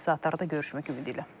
Növbəti saatlarda görüşmək ümidi ilə.